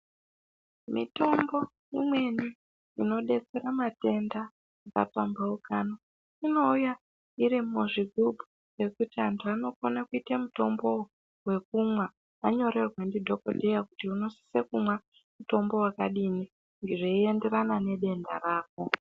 Mitombo imweni inodetsera matenda yakapambauka inouya iri muzvigubhu yekuti antu anokona kuite mutombo wekumwa vanyorerwa na dhokodheya kuti unosise kumwa mutombo wakadini zveienderana nedenda rako .